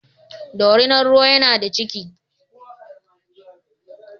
Dorinar ruwan yana da ciki.